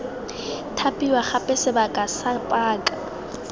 thapiwa gape sebaka sa paka